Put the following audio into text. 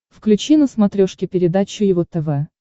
включи на смотрешке передачу его тв